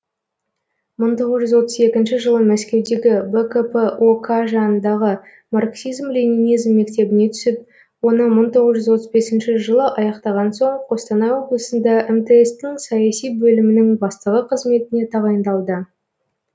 мың тоғыз жүз отыз екінші жылы мәскеудегі бкп ок жанындағы марксизм ленинизм мектебіне түсіп оны мың тоғыз жүз отыз бесінші жылы аяқтаған соң қостанай облысында мтс тің саяси бөлімінің бастығы қызметіне тағайындалды